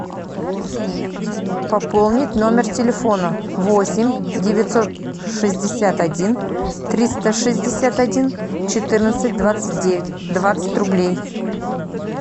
пополнить номер телефона восемь девятьсот шестьдесят один триста шестьдесят один четырнадцать двадцать девять двадцать рублей